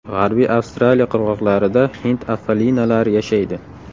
G‘arbiy Avstraliya qirg‘oqlarida hind afalinalari yashaydi.